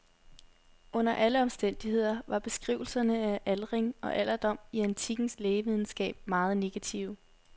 Under alle omstændigheder var beskrivelserne af aldring og alderdom i antikkens lægevidenskab meget negative.